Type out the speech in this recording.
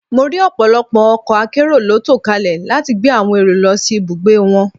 Mo rí ọ̀pọ̀lọpọ̀ ọkọ̀ akérò ló tò kalẹ̀ láti gbé àwòn èrò lọ sí ibùgbé wọn